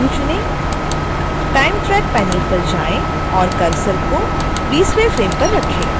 time track panel पर जाएँ और cursor को 20